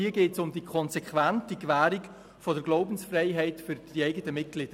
Hier geht es um die konsequente Gewährung der Glaubensfreiheit für die eigenen Mitglieder.